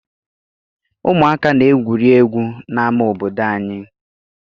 Ụmụaka na-egwuri egwu n'ama obodo anyị.